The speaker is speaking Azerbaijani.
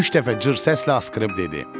Üç dəfə cır səslə asqırıb dedi: